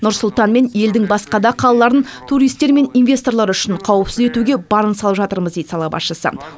нұр сұлтан мен елдің басқа да қалаларын туристер мен инвесторлар үшін қауіпсіз етуге барын салып жатырмыз дейді сала басшысы